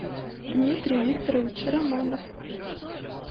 дмитрий викторович романов